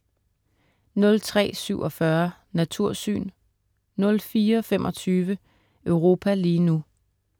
03.47 Natursyn* 04.25 Europa lige nu*